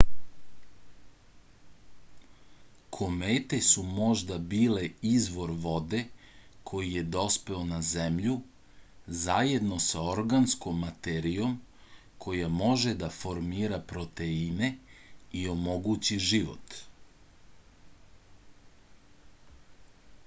komete su možda bile izvor vode koji je dospeo na zemlju zajedno sa organskom materijom koja može da formira proteine i omogući život